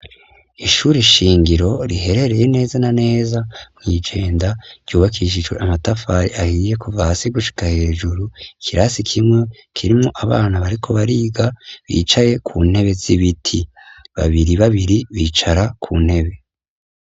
Ishuri shingiro rihereye neza na neza mw'iJenda, ryubakishijwe amatafari ahiye kuva hasi gushika hejuru, ikirasi kimwe, kirimwo abana bariko bariga, bicaye Ku ntebe z' ibiti. Babiri babiri bicara Ku ntebe.